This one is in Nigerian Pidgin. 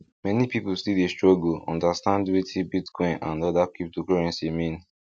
many people still dey struggle understand wetin bitcoin and other cryptocurrency mean